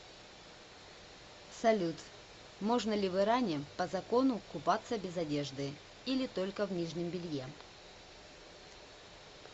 салют можно ли в иране по закону купаться без одежды или только в нижнем белье